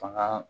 Fanga